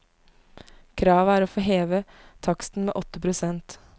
Kravet er å få heve taksten med åtte prosent.